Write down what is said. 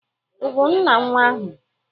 Ị bụ nna nwa ahụ